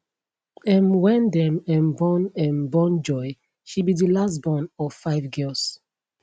um wen dem um born um born joy she be di last born of five girls